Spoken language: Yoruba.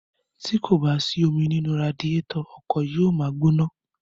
Tí kò bá sí omi nínú radiétọ̀, ọkọ̀ yóò ma gbóná.